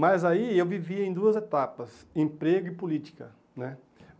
Mas aí eu vivia em duas etapas, emprego e política né.